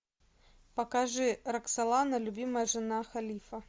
покажи роксолана любимая жена халифа